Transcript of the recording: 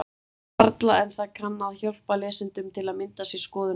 Varla, en það kann að hjálpa lesendum til að mynda sér skoðun á því.